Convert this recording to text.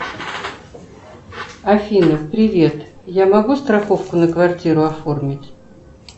афина привет я могу страховку на квартиру оформить